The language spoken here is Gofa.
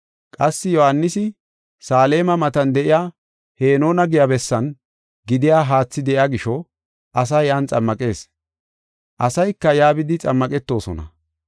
Qassi Yohaanisi Saleema matan de7iya Henoona giya bessan gidiya haathi de7iya gisho asaa yan xammaqees. Asayka yaa bidi xammaqetosona.